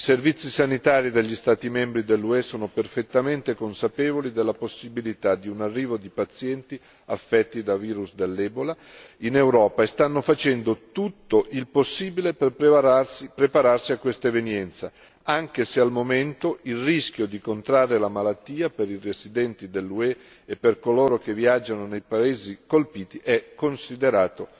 I servizi sanitari degli Stati membri dell'UE sono perfettamente consapevoli della possibilità di un arrivo di pazienti affetti da virus dell'ebola in Europa e stanno facendo tutto il possibile per prepararsi a questa evenienza, anche se al momento il rischio di contrarre la malattia per i residenti dell'UE e per coloro che viaggiano nei paesi colpiti è considerato